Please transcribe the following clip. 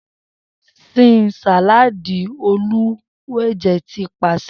Sin saladi Oluwanje ti paṣẹ